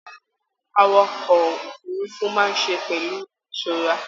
Àwàkọ̀ òfurùnfu máa ṣe pẹlu ìṣọrà